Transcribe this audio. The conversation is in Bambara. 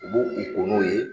U b'o k'u o n'o ye